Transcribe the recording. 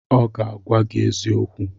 ọ ga-agwa gi eziokwu